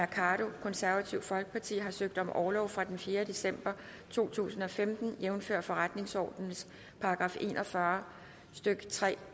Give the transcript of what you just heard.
carl holst har søgt om orlov fra den fjerde december to tusind og femten jævnfør forretningsordenens § en og fyrre stykke tre